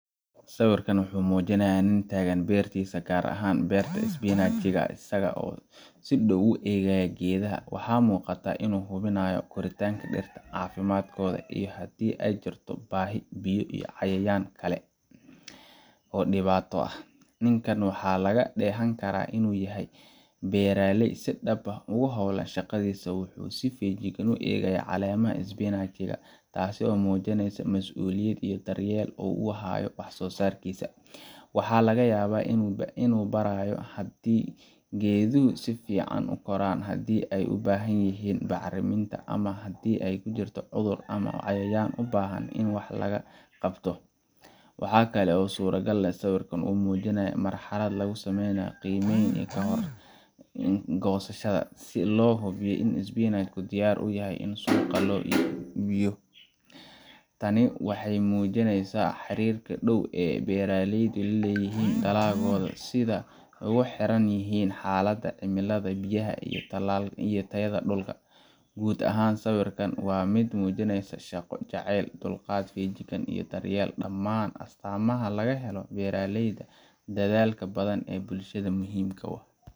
Sawirkan waxa uu muujinayaa nin taagan beertiisa, gaar ahaan beerta isbinaajka isaga oo si dhow u eegaya geedaha. Waxa muuqata in uu hubinayo korriinka dhirta, caafimaadkooda, iyo haddii ay jirto baahi biyo, cayayaan ama wax kale oo dhibaato ah. Ninkan waxaa laga dheehan karaa inuu yahay beeraley si dhab ah ugu howlan shaqadiisa. Wuxuu si feejigan u eegayaa caleemaha isbinaajka, taas oo muujinaysa masuuliyad iyo daryeel uu u hayo wax soo saarkiisa. Waxaa laga yaabaa inuu baarayo haddii geeduhu si fiican u koraan, haddii ay u baahan yihiin bacriminta, ama haddii uu jiro cudur ama cayayaan u baahan in wax laga qabto. Waxa kale oo suuragal ah in sawirka uu muujinayo marxalad lagu sameynayo qiimayn ka hor goosashada, si loo hubiyo in isbinaajku diyaar u yahay in suuqa loo iibgeeyo. Tani waxay muujinaysaa xariirka dhow ee beeraleydu la leeyihiin dalagooda, iyo sida ay ugu xiran yihiin xaaladda cimilada, biyaha, iyo tayada dhulka. Guud ahaan, sawirkan waa mid muujinaysa shaqo jaceyl, dulqaad, feejignaan iyo daryeel dhammaan astaamaha laga helo beeraleyda dadaalka badan ee bulshada muhiimka u ah.